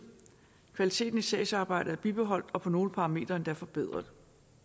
kvaliteten i sagsarbejdet er bibeholdt og på nogle parametre forbedret